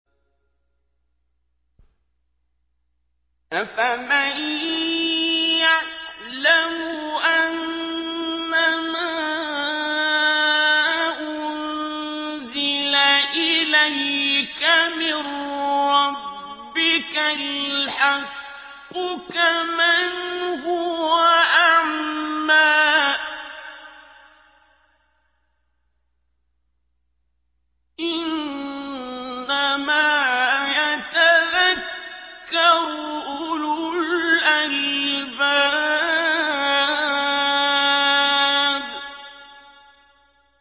۞ أَفَمَن يَعْلَمُ أَنَّمَا أُنزِلَ إِلَيْكَ مِن رَّبِّكَ الْحَقُّ كَمَنْ هُوَ أَعْمَىٰ ۚ إِنَّمَا يَتَذَكَّرُ أُولُو الْأَلْبَابِ